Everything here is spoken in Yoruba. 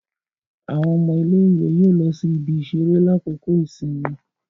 Awọn ọmọ ilé-ìwé yóò lọ sí ibi-iṣere lakoko ìsinmi